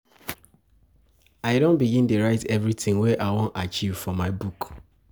I don begin dey write everytin wey I wan achieve for my book.